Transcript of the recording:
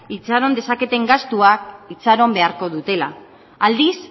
itxaron dezaketen gastuak itxaron beharko dutela aldiz